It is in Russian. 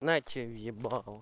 на тебе в ебало